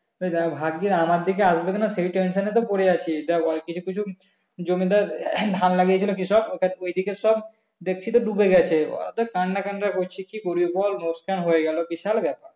ভাবছি আমাদের দিকে আসবে কি না সেই tension এ তো পরে আছি তা ওই কিছু কিছু জমি ধর ধান লাগিয়াছিল কৃষক ওই দিকের সব দেখছি তো ডুবে গেছে ওরা তো কান্না টান্না করছে কি করবি বল লোকসান হয়ে গেলো বিশাল ব্যাপার